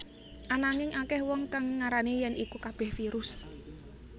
Ananging akèh wong kang ngarani yèn iku kabèh virus